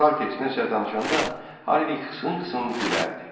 Salter sənə danışanda Harvey qısın-qısın gülərdi.